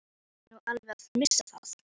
Ertu nú alveg að missa það?